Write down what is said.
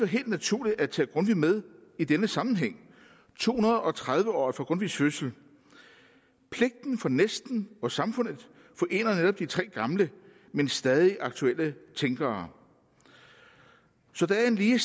helt naturligt at tage grundtvig med i denne sammenhæng i to hundrede og tredive året for grundtvigs fødsel pligten over for næsten og samfundet forener netop de tre gamle men stadig aktuelle tænkere så der er en lige